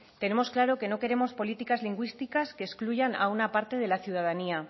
tenemos claro que no queremos políticas lingüísticas que excluyan a una parte de la ciudadanía